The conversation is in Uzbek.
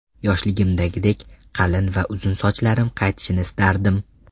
Yoshligimdagidek qalin va uzun sochlarim qaytishini istardim!.